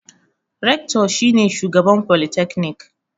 Rector ne shugaban folytekni.